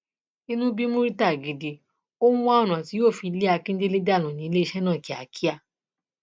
inú bí murità gidigidi ó ń wá ọnà tí yóò fi lé akíndélé dànù níléeṣẹ náà kíákíá